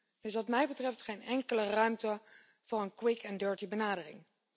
Er is wat mij betreft geen enkele ruimte voor een quick and dirty benadering.